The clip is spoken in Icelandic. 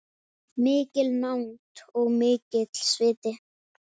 Mikil nánd og mikill sviti.